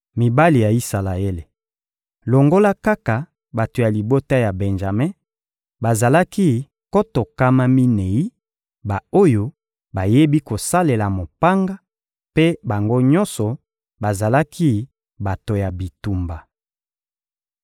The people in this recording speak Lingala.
Mibali ya Isalaele, longola kaka bato ya libota ya Benjame, bazalaki nkoto nkama minei, ba-oyo bayebi kosalela mopanga; mpe bango nyonso bazalaki bato ya bitumba.